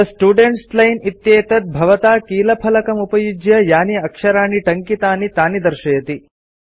थे students line इत्येतत् भवता कीलफलकमुपयुज्य यानि आक्षराणि टङ्कितानि तानि दर्शयति